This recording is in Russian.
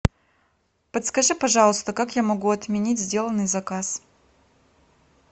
подскажи пожалуйста как я могу отменить сделанный заказ